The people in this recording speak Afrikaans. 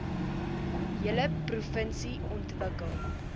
hele provinsie ontwikkel